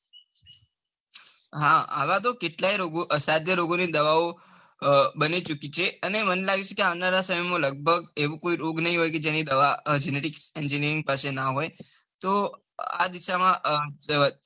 હા આવા તો કેટલાએ રોગો અસદય રોગો ની દવા બની ચુકી છે અને આવનારા સમય ની અંદર એવો કોઈ રોગ નાઈ હોય કે જેનની દવા genetics engineering પાસે ના હોય તો આજ દિશા માં સુ કેવાય?